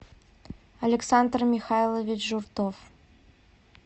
александр михайлович журтов